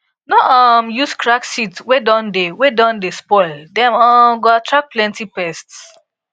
no um use cracked seed wey don dey wey don dey spoil dem um go attract plenty pests